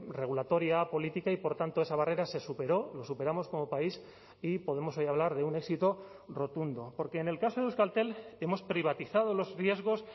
regulatoria política y por tanto esa barrera se superó lo superamos como país y podemos hoy hablar de un éxito rotundo porque en el caso de euskaltel hemos privatizado los riesgos